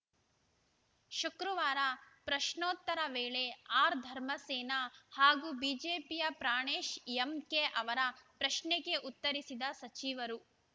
ಶುಕ್ರವಾರ ಪ್ರಶ್ನೋತ್ತರ ವೇಳೆ ಆರ್‌ ಧರ್ಮಸೇನ ಹಾಗೂ ಬಿಜೆಪಿಯ ಪ್ರಾಣೇಶ್‌ ಎಂಕೆ ಅವರ ಪ್ರಶ್ನೆಗೆ ಉತ್ತರಿಸಿದ ಸಚಿವರು